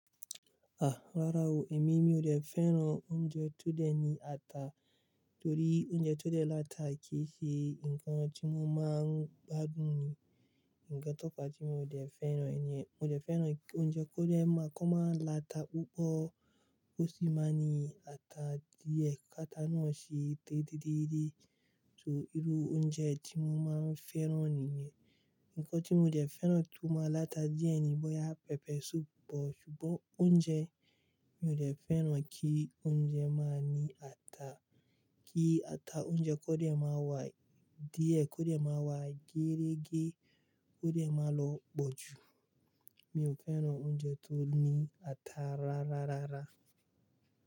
Ah! Rárá o, èmi mi ò dẹ fẹ́ràn oúnjẹ tó dẹ ní ata torí oúnjẹ tó dẹ lata kì í ṣe ǹkan tí mo máa ń gbádùn ni. Ǹkan tófa tí mò dẹ fẹ́ràn nìyẹn. Mo dẹ fẹ́ràn oúnjẹ kó dẹ máa kó máa lata púpọ̀ ó sì máa ní ata díẹ̀. Kata náà sìe dídíídé. So irú oúnjẹ tí mo máa ń fẹ́ràn nìyẹn. Ǹkan tí mo dẹ fẹ́ràn tó máa lata díẹ̀ ni bọ̀yá pẹpẹ suupu bọ̀ ṣùgbọ́n oúnjẹ mi ò dẹ fẹ́ràn kí oúnjẹ máa ní ata. Kí ata oúnjẹ kó dẹ máa wà díẹ̀, kó dẹ máa wà gẹrẹ́gẹ́, kó dẹ máa lọ̀ bọ́ ju. Mi ò fẹ́ràn oúnjẹ tó ní ata rárárárára.